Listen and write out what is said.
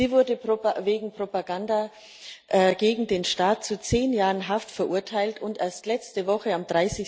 Sie wurde wegen Propaganda gegen den Staat zu zehn Jahren Haft verurteilt, und erst letzte Woche, am